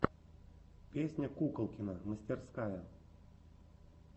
песня куколкина мастерская